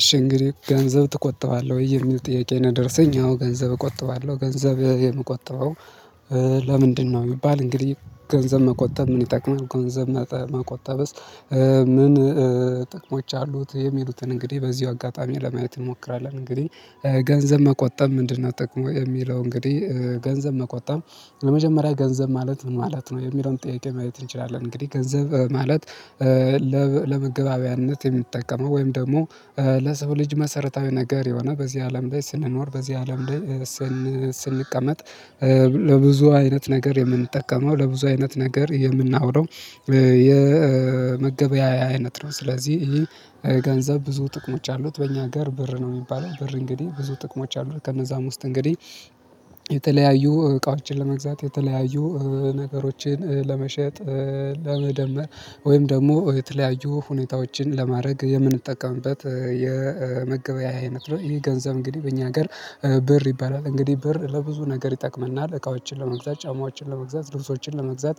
እሺ እንግዲህ ገንዘብ ትቆጥባለ ወይ? የሚል ጥያቄ ነው ደረሰኝ። አዎ ገንዘብ እቆጥባለው። ገንዘብ የምቆጥበው እ ለምንድነው? ቢሚባል እንግዲህ ገንዘብ መቆጠብ ምን ይጠቅማል? ገንዘብ መጠ መቆጠብስ ምን እ ጥቅሞች አሉት? የሚሉትን እንግዲ በዚው አጋጣሚ ለማየት እንሞክራለን። እንግዲህ እ ገንዘብ መቆጠብ ምንድነው ጥቅሙ የሚለው እንግዲህ እ ገንዘብ መቆጠብ ለመጀመሪያ ገንዘብ ማለት ምን ማለት ነው? የሚለውን ጥያቄ ማለት እንችላለን እንግዲህ። ገንዘብ ማለት ለመገበባያነት የሚጠቀመው ወይም ደሞ እ ለሰው ልጅ መሰረታዊ ነገር የሆነ፣ በዚህ አለም ላይ ስንኖር፣ በዚህ አለም ላይ እ ስን ስንቀመጥ እ ለብዙ አይነት ነገር የምንጠቀመው፣ ለብዙ አይነት ነገር የምናውለው እ የ መገበያያ አይነት ነው። ስለዚ ኢሂ ገንዘብ ብዙ ጥቅሞች አሉት። በእኛ አገር ብር ነው ሚባለው። ብር እንግዲህ ብዙ ጥቅሞች አሉት። ከነዛም ውስጥ እንግዲ የተለያዩ እቃዎችን ለመግዛት፣ የተለያዩ ነገሮችን ለመሸጥ፣ እ ለመደመር ወይም ደሞ፣ የተለያዩ ሁኔታዎችን ለማድረግ የምንጠቀምበት እ የ መገበያያ አይነት ነው። ይህ ገንዘብ እንግዲህ በእኛ ሀገር ብር ይባላል። እንግዲህ ብር ለብዙ ነገር ይጠቀመናል። እቃዎችን ለመግዛት፣ ጫማዎችን ለመግዛት፣ ልብሶችን ለመግዛት፣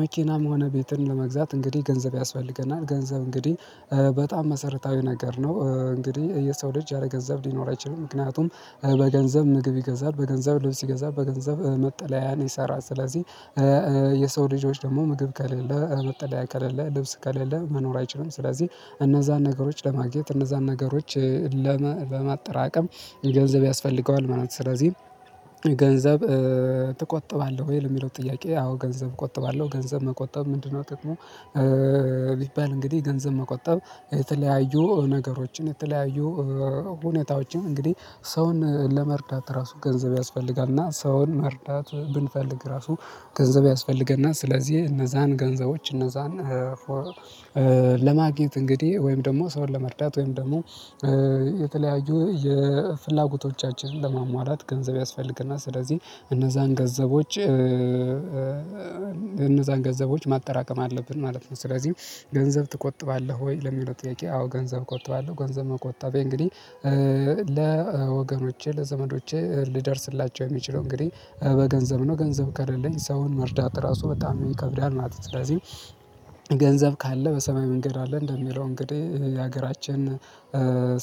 መኪናም ሆነ ቤትን ለመግዛት እንግዲህ ገንዘብ ያስፈልገናል። ገንዘብ እንግዲህ እ በጣም መሰረታዊ ነገር ነው። እ እንግዲህ የሰው ልጅ ያለገንዘብ ሊኖር አይችልም። ምክንያቱም በገንዘብ ምግብ ይገዛል፣ በገንዘብ ልብስ ይገዛል፣ በገንዘብ እ መጠለያን ይሰራል። ስለዚህ የሰው ልጆች ደሞ ምግብ ከሌለ፣ እ መጠለያ ከሌለ፣ ልብስ ከሌለ መኖር አይችሉም። ስለዚህ እነዛን ነገሮች ለማግኘት፣ እነዛን ነገሮች እ ለመ ለማጠራቀም ገንዘብ ያስፈልገዋል ማለት ነው። ስለዚህ ገንዘብ እ ትቆጥባለ ወይ ለሚለው ጥያቄ፤ አዎ ገንዘብ እቆጥባለሁ። ገንዘብ መቆጠብ ምንድነው ጥቅሙ እ ቢባል እንግዲህ፣ ገንዘብ መቆጠብ የተለያዩ ነገሮችን፣ የተለያዩ እ ሁነታዎችን እንግዲህ፣ ሰውን ለመርዳት ራሱ፣ ገንዘብ ያስፈልጋል። እና ሰውን መርዳት ብንፈልግ ራሱ ገንዘብ ያስፈልገናል። ስለዚህ እነዛን ገንዘቦች እነዛን እ ለማግኘት እንግዲ ወይም ደሞ ሰውን ለመርዳት ወይም ደሞ እ ተለያዩ የፍላጎቶቻችንን ለሟሟላት ገንዘብ ያስፈልገናል። ስለዚ እነዛን ገንዘቦች እ እ እነዛን ገንዘቦች ማጠራቀም አለብን ማለት ነው። ስለዚ ገንዘብ ትቆጥባለህ ወይ? ለሚለው ጥያቄ፤ አዎ ገንዘብ ቆጥባለው። ገንዘብ መቆጠቤ እንግዲህ እ ለወገኖቼ፣ ለዘመዶቼ ልደርስላቸው የሚችለው እንግዲህ በገንዘብ ነው። ገንዘብ ከለለኝ ሰውን መርዳት ራሱ በጣም ይከብዳል ማለት ነው። ስለዚህ ገንዘብ ካለ፤ በሰማይ መንገድ አለ። እንደሚለው እንግዲ ያገራችን እ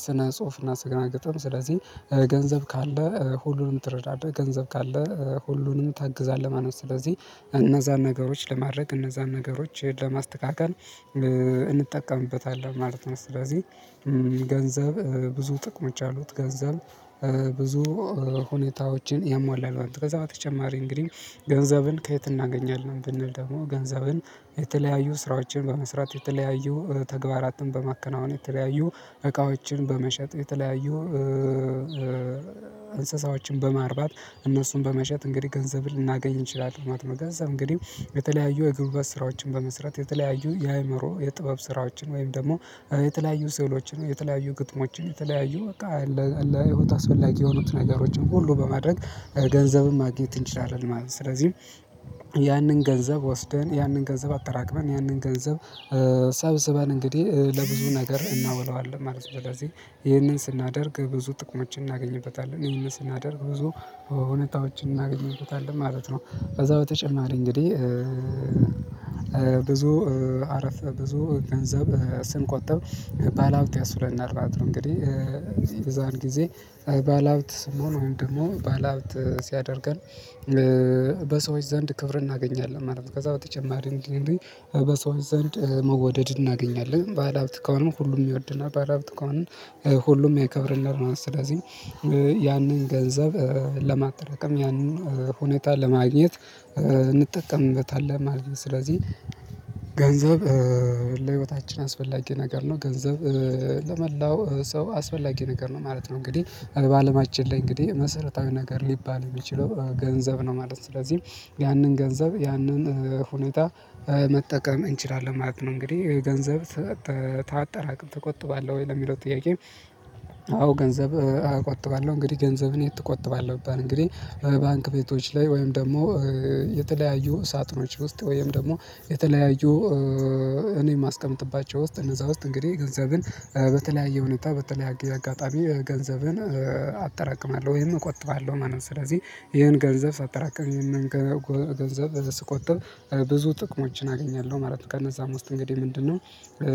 ስነ-ጽሁፍና ስነ-ግጥም ስለዚ ገንዘብ ካለ፣ ሁሉንም ትረዳለህ። ገንዘብ ካለ፣ ሁሉንም ታግዛለህ ማለት ነው። ስለዚህ እነዛን ነገሮች ለማድረግ፣ እነዛን ነገሮችን ለማስተካከል እ እንጠቀምበታለን ማለት ነው። ስለዚ ገንዘብ እ ብዙ ጥቅሞች አሉት። ገንዘብ እ ብዙ እ ሁኔታዎችን ያሟላል። ከዛ በተጨማሪ እንግዲህ ገንዘብን ከየት እናገኛለን ብንል ደሞ ገንዘብን የተለያዩ ስራዎችን በመስራት፣ የተለያዩ ተግባራትን በማከናወን፣ የተለያዩ እቃዎችን በመሸጥ፣ የተለያዩ እንስሳዎችን በማርባት፣ እነሱን በመሸጥ እንግዲህ ገንዘብን ልናገኝ እንችላለን ማለት ነው። ገንዘብ እንግዲ የተለያዩ የጉልበት ስራዎችን በመስራት፣ የተለያዩ የአይምሮ የጥበብ ስራዎችን፣ ወይም ደግሞ የተለያዩ ስዕሎችን፣ የተለያዩ ግጥሞችን፣ የተለያዩ በቃ ለ ለህይወት አስፈላጊ የሆኑት ነገሮችን ሁሉ በማድረግ፣ ገንዘብን ማግኘት እንችላለን ማለት ነው። ስለዚህ ያንን ገንዘብ ወስደን፣ ያንን ገንዘብ አጠራቅመን፣ ያንን ገንዘብ እ ሰብስበን፣ እንግዲህ ለብዙ ነገር እናውለዋለን ማለት ነው። ስለዚ ይህንን ስናደርግ ብዙ ጥቅሞችን እናገኝበታለን። ይህንን ስናደርግ ብዙ እውነታዎችን እናገኝበታለን ማለት ነው። ከዛ በተጨማሪ እንግዲህ እ ብዙ እ አረፍ ብዙ ገንዘብ እ ስንቆጥብ ባለሀብት ያስብለናል ማለት ነው። እንግዲ እ በዛን ጊዜ ባለሀብት ስንሆን ወይም ደሞ ባለሀብት ሲያደርገን እ በሰዎች ዘንድ ክብር እናገኛለን ማለት ነው። ከዛ በተጨማሪ እንዲ በሰዎች ዘንድ እ መወደድ እናገኛለን። ባለሀብት ከሆንን ሁሉም ይወደናል። ባለሀብት ከሆነን ሁሉም ያከብረናል። ስለዚ እ ያንን ገንዘብ እ ለማጠራቀም ያንን ሁኔታ ለማግኘት እ እንጠቀምበታለን ማለት ነው። ስለዚህ ገንዘብ እ ለህይወታችን አስፈላጊ ነገር ነው። ገንዘብ እ ለመላው ሰው አስፈላጊ ነገር ነው ማለት ነው። እንግዲህ በአለማችን ላይ እንግዲህ መሰረታዊ ነገር ሊባል የሚችለው ገንዘብ ነው ማለት ነው። ስለዚህም ያንን ገንዘብ፣ ያንን ሁኔታ እ መጠቀም እንችላለን ማለት ነው። እንግዲህ ገንዘብ ታጠራቅም፣ ትቆጥባለህ ወይ ለሚለው ጥያቄ አዎ ገንዘብ እ እቆጥባለሁ። እንግዲገንዘብን የት እቆጥባለው ብባል እንግዲህ ባንክ ቤቶች ላይ ወይም ደግሞ እ የተለያዩ ሳጥኖች ውስጥ ወይም ደግሞ የተለያዩ እኔ ማስቀምጥባቸው ውስጥ እነዛ ውስጥ እንግዴ ገንዘብን በተለያየ ሁኔታ፣ በተለያየ አጋጣሚ ገንዘብን፣ እ አጠራቅማለሁ ወይም እቆጥባለሁ ማለት ነው። ስለዚ ኢሄን ገንዘብ ሳጠራቅም፣ ኢሄን ገ ጎ ገንዘብ ስቆጥብ። ብዙ ጥቅሞችን አገኛለሁ ማለት ነው። ከነዛም ውስጥ እንግዲህ ምንድነው እ